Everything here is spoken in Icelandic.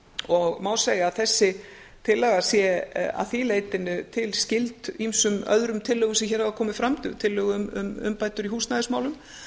og má segja að þessi tillaga sé að því leytinu til skyld ýmsum öðrum tillögum sem hér hafa komið fram tillögu um umbætur í húsnæðismálum